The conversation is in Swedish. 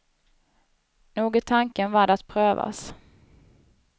Nog är tanken värd att prövas.